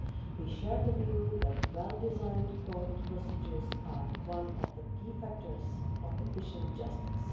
We share the view that well designed court procedures are one of the key factors of efficient justice.